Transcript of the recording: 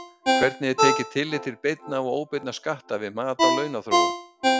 Hvernig er tekið tillit til beinna og óbeinna skatta við mat á launaþróun?